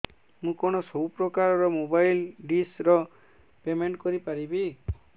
ମୁ କଣ ସବୁ ପ୍ରକାର ର ମୋବାଇଲ୍ ଡିସ୍ ର ପେମେଣ୍ଟ କରି ପାରିବି